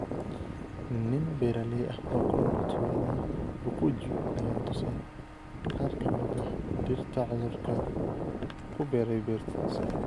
Nin beeraley ah ooku nool tuulada Bukujju ayana tusay qaarkamid ah dhirta cudurku kubeeray beertiisa.